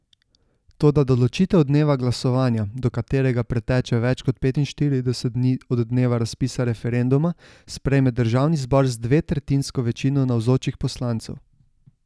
Toda določitev dneva glasovanja, do katerega preteče več kot petinštirideset dni od dneva razpisa referenduma, sprejme državni zbor z dvetretjinsko večino navzočih poslancev.